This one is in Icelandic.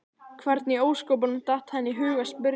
Hvernig í ósköpunum datt henni í hug að spyrja svona!